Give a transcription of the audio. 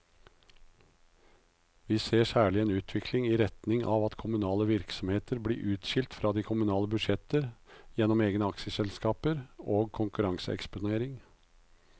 Vi ser særlig en utvikling i retning av at kommunale virksomheter blir utskilt fra de kommunale budsjetter gjennom egne aksjeselskaper og konkurranseeksponering.